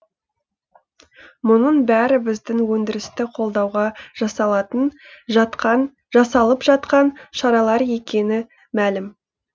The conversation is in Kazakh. мұның бәрі біздің өндірісті қолдауға жасалып жатқан шаралар екені мәлім